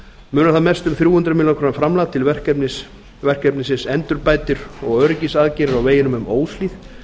munar þar mest um þrjú hundruð milljóna króna framlag til verkefnisins endurbætir og öryggisaðgerðir á veginum um óshlíð